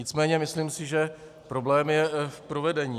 Nicméně myslím si, že problém je v provedení.